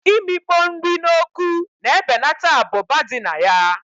Imikpo nri na oku na ebeneta abụba dị na ya